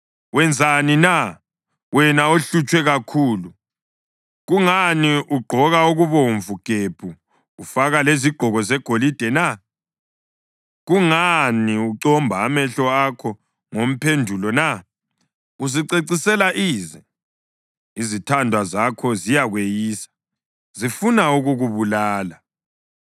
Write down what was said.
Wenzani na, wena ohlutshwe kakhulu? Kungani ugqoka okubomvu gebhu ufaka lezigqoko zegolide na? Kungani ucomba amehlo akho ngomphendulo na? Uzicecisela ize. Izithandwa zakho ziyakweyisa, zifuna ukukubulala.